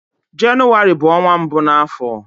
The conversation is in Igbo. Jenụwarị bu onwa mbu n'afo.